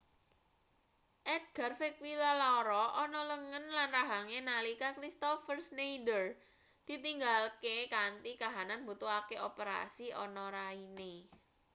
edgar vequilla lara ana lengen lan rahange nalika kristoffer scneider ditinggalke kanthi kahanan mbutuhake operasi ana raine